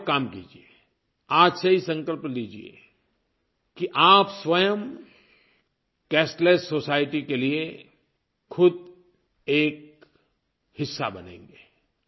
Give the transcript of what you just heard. आप एक काम कीजिए आज से ही संकल्प लीजिए कि आप स्वयं कैशलेस सोसाइटी के लिए ख़ुद एक हिस्सा बनेंगे